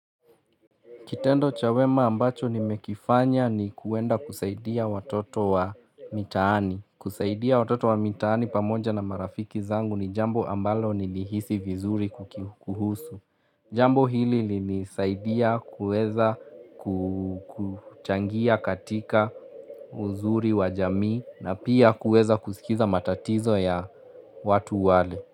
Kitendo cha wema ambacho nimekifanya ni kwenda kusaidia watoto wa mitaani. Kusaidia watoto wa mitaani pamoja na marafiki zangu ni jambo ambalo nilihisi vizuri kukuhusu. Jambo hili lilisaidia kuweza kuchangia katika uzuri wa jamii na pia kuweza kusikiza matatizo ya watu wale.